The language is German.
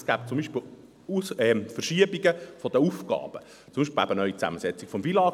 Es gebe zum Beispiel Verschiebungen der Aufgaben, zum Beispiel die neue Zusammensetzung des FILAG.